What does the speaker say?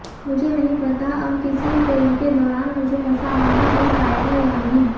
मुझे नहीं पता अब किसी फिल्म के दौरान मुझे ऐसा माहौल मिल पाएगा या नहीं